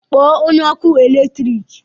Kpọọ onye ọkụ eletrik!